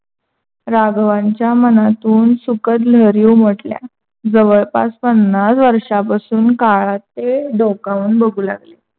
राघवांच्या मनातून सुखद लहरी उमटल्या जवळपास पन्नास वर्षापासून काळात ते डोकावून बघू लागले.